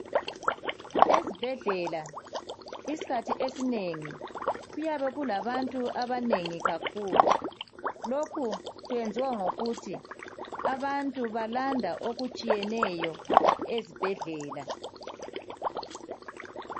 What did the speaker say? Ezibhedlela isikhathi esinengi kuyabe kulabantu abanengi kakhulu. Lokhu kwenziwa ngokuthi abantu balanda okutshiyeneyo ezibhedlela.